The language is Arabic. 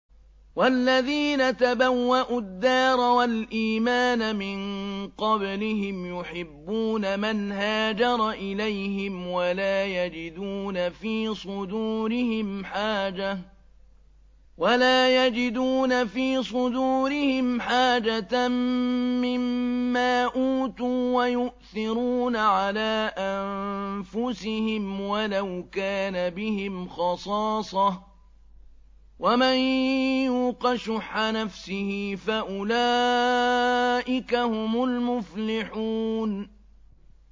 وَالَّذِينَ تَبَوَّءُوا الدَّارَ وَالْإِيمَانَ مِن قَبْلِهِمْ يُحِبُّونَ مَنْ هَاجَرَ إِلَيْهِمْ وَلَا يَجِدُونَ فِي صُدُورِهِمْ حَاجَةً مِّمَّا أُوتُوا وَيُؤْثِرُونَ عَلَىٰ أَنفُسِهِمْ وَلَوْ كَانَ بِهِمْ خَصَاصَةٌ ۚ وَمَن يُوقَ شُحَّ نَفْسِهِ فَأُولَٰئِكَ هُمُ الْمُفْلِحُونَ